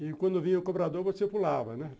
E quando vinha o cobrador, você pulava, né?